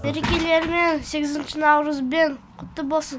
мерекелерімен сегізінші наурызбен құтты болсын